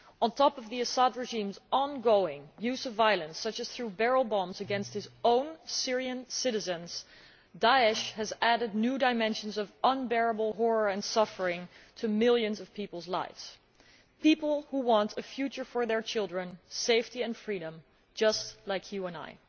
On top of the Assad regime's ongoing use of violence, including the use of barrel bombs against their own Syrian citizens, Daesh has added new dimensions of unbearable horror and suffering to millions of people's lives people who want a future for their children, safety and freedom, just like you and I.